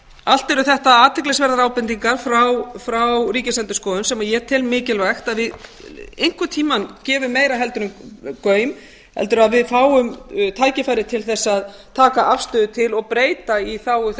allt eru þetta athyglisverðar ábendingar frá ríkisendurskoðun sem ég tel mikilvægt að við einhvern tíma gefum meira en gaum heldur að við fáum tækifæri til þess að taka afstöðu til og breyta í þágu þess